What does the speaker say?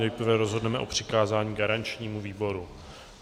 Nejprve rozhodneme o přikázání garančnímu výboru.